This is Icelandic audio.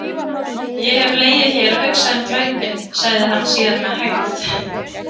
Ég hef legið hér og hugsað um glæpinn, sagði hann síðan með hægð.